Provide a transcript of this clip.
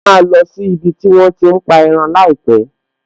A máa lọ sí ibi tí wón ti ń pa ẹran láìpẹ̀